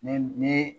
Ne ne